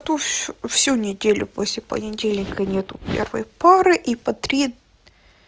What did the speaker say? ту всю всю неделю после понедельника нет первой пары и по три